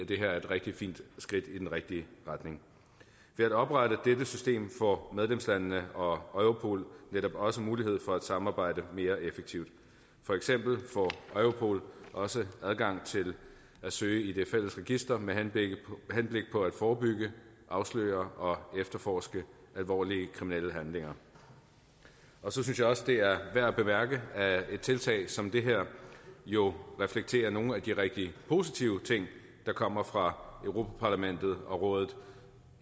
det her er et rigtig fint skridt i den rigtige retning ved at oprette dette system får medlemslandene og og europol netop også mulighed for at samarbejde mere effektivt for eksempel får europol også adgang til at søge i det fælles register med henblik på at forebygge afsløre og efterforske alvorlige kriminelle handlinger jeg synes også det er værd at bemærke at et tiltag som det her jo reflekterer nogle af de rigtig positive ting der kommer fra europa parlamentet og rådet